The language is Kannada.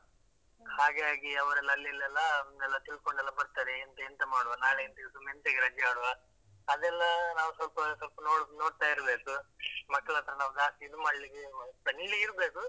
ಹಾಗಾಗಿ ಅವ್ರೆಲ್ಲ ಅಲ್ಲಿ ಅಲ್ಲೆಲ್ಲ ಎಲ್ಲ ತಿಳ್ಕೊಂಡೆಲ್ಲಾ ಬರ್ತಾರೆ, ಎಂತ ಎಂತ ಮಾಡುವ ನಾಳೆ ಎಂತ ಸುಮ್ನೆ ಎಂತಕ್ಕೆ ರಜೆ ಮಾಡುವ, ಅದೆಲ್ಲಾ ನಾವ್ ಸ್ವಲ್ಪ ಸ್ವಲ್ಪ ನೋಡ್ತಾ ಇರ್ಬೇಕು, ಮಕ್ಕಳ್ ಹತ್ರ ನಾವ್ ಜಾಸ್ತಿ ಇದು ಮಾಡ್ಲಿಕ್ಕೆ ಅಹ್ friendly ಇರ್ಬೇಕು.